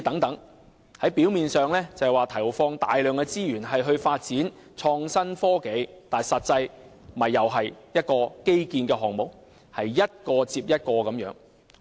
政府表面上投放大量資源發展創新科技，但實際上又是一項基建項目，是一個接一個的模樣。